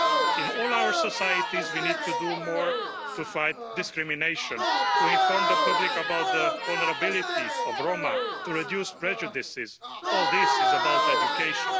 In all our societies, we need to do more to fight discrimination, to inform the public about the vulnerability of Roma, to reduce prejudices all this is about education.